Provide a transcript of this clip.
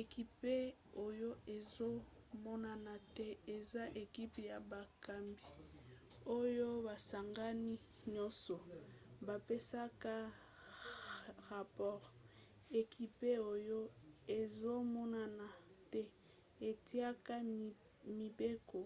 ekipe oyo ezomonana te eza ekipe ya bakambi oyo basangani nyonso bapesaka rapore. ekipe oyo ezomonana te etiaka mibeko